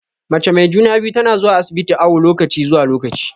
Mace mai juna-biyu tana zuwa asibiti awu lokaci zuwa lokaci.